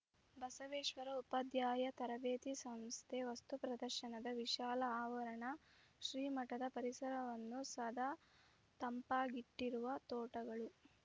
ಬಸವೇಶ್ವರ ಉಪಾಧ್ಯಾಯ ತರಬೇತಿ ಸಂಸ್ಥೆ ವಸ್ತು ಪ್ರದರ್ಶನದ ವಿಶಾಲ ಆವರಣ ಶ್ರೀ ಮಠದ ಪರಿಸರವನ್ನು ಸದಾ ತಂಪಾಗಿಟ್ಟಿರುವ ತೋಟಗಳು